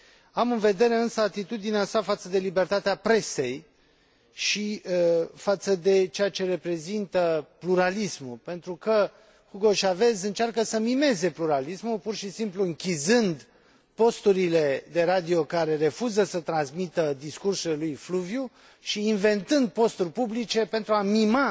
Am în vedere, însă, atitudinea sa față de libertatea presei și față de ceea ce reprezintă pluralismul, pentru că Hugo Chávez încearcă să mimeze pluralismul, pur și simplu închizând posturile de radio care refuză să transmită discursul lui fluviu și inventând posturi publice pentru a mima